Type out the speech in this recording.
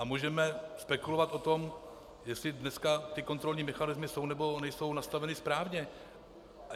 A můžeme spekulovat o tom, jestli dneska ty kontrolní mechanismy jsou, nebo nejsou nastaveny správně.